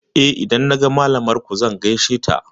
Eh, idan naga malamar ku zan gaishe da ita.